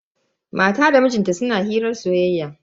Matan da mijin ta suna hirar soyayya.